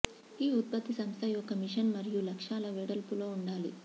ఈ ఉత్పత్తి సంస్థ యొక్క మిషన్ మరియు లక్ష్యాల వెడల్పులో ఉండాలి